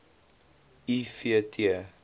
i v t